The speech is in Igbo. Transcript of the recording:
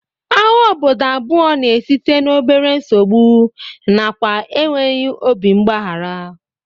Agha obodo abụọ na-esite n'obere nsogbu nakwa enweghị obi mgbaghara